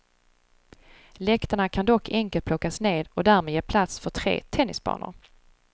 Läktarna kan dock enkelt plockas ned och därmed ge plats för tre tennisbanor.